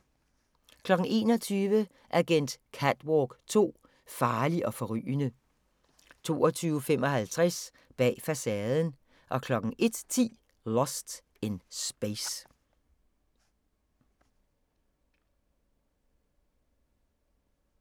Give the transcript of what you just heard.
21:00: Agent Catwalk 2: Farlig og forrygende 22:55: Bag facaden 01:10: Lost in Space